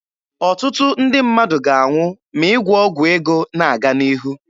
Ọtụtụ ndị mmadụ ga-anwụ ma ịgwọ ọgwụ ego na-aga n'ihu.